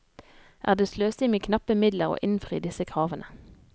Er det sløsing med knappe midler å innfri disse kravene?